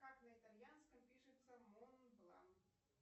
как на итальянском пишется монблан